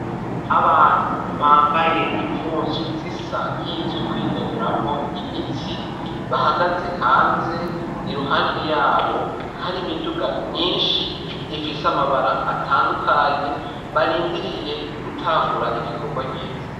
Abantu bambaye impuzu zisa nk'izukwinonoramwo imitsi bahagaze hanze iruhande yabo hari imiduga myinshi ifise amabara atandukanye barindiriye gutangura igikorwa nyezina.